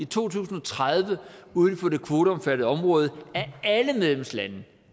to tusind og tredive uden for det kvoteomfattede område